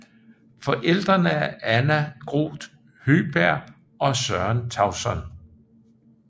Forældrene er Anna Groth Høgberg og Søren Tauson